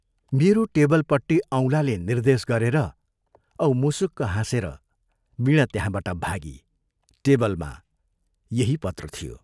मेरो टेबलपट्टि औंलाले निर्देश गरेर औ मुसुक हाँसेर वीणा त्यहाँबाट भागी टेबलमा यही पत्र थियो।